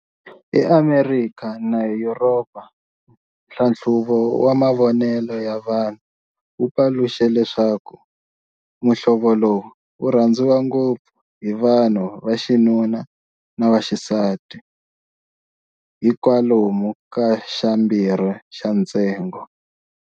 EAmerikha na Yuropa, nhlanhluvo wa mavonele ya vanhu wu paluxe leswaku muhlovo lowu wu rhandziwa ngopfu hi vanhu va xinanun na vaxisati hi kwalomu ka xa mbirhi xa ntsengo.